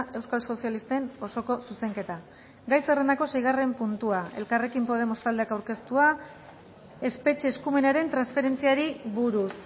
euskal sozialisten osoko zuzenketa gai zerrendako seigarren puntua elkarrekin podemos taldeak aurkeztua espetxe eskumenaren transferentziari buruz